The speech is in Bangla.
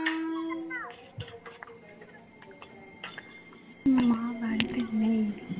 মা বাড়িতে নেই